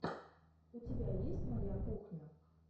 у тебя есть моя кухня